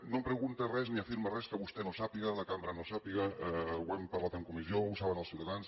no em pregunta res ni afirma res que vostè no sàpiga que la cambra no sàpiga ho hem parlat en comissió ho saben els ciutadans